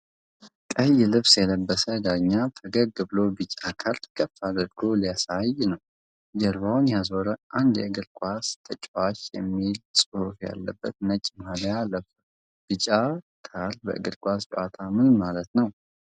ቀይ ልብስ የለበሰ ዳኛ ፈገግ ብሎ ቢጫ ካርድ ከፍ አድርጎ ሊያሳይ ነው። ጀርባውን ያዞረ አንድ የእግር ኳስ ተጫዋች የሚል ጽሑፍ ያለበት ነጭ ማልያ ለብሷል። ቢጫ ካርድ በእግር ኳስ ጨዋታ ምን ማለት ነው?